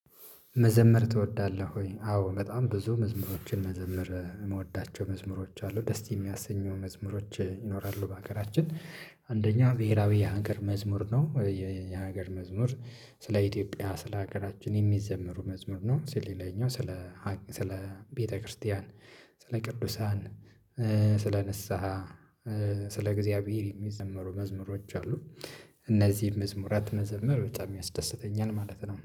መዘመር ትወዳለህ ወይ? አዎ በጣም ብዙ መዝሙሮችን መዘመር የምወዳቸው መዝሙሮች አሉ ደስ የሚያሰኙ መዝሙሮች ይኖራሉ በሀገራችን አንደኛ ብሄራዊ የሀገር መዝሙር ነው። የሀገር መዝሙር ስለ ኢትዮጵያ ስለ ሀገራችን የሚዘመሩ መዝሙር ነው። ስለ ሌላኛው ስለ ስለ ቤተክርስቲያን ስለ ቅዱሳን ስለ ንስሃ ስለ እግዚአብሔር የሚዘመሩ መዝሙሮች አሉ። እነዚህን መዝሙራት መዘመር በጣም ያስደስተኛል ማለት ነው